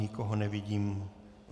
Nikoho nevidím.